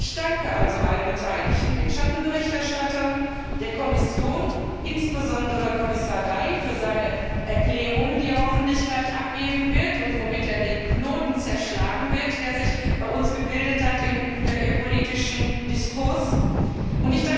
Ich danke also allen Beteiligten, den Schattenberichterstattern, der Kommission, insbesondere Kommissar Dalli für seine Erklärungen, die er hoffentlich gleich abgeben und mit denen er den Knoten zerschlagen wird, der sich bei uns im politischen Diskurs gebildet hat.